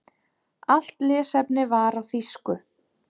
Allt lesefni var á þýsku.